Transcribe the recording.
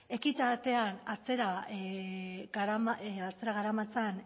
ekitatea atzera garamatzan